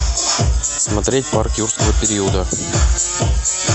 смотреть парк юрского периода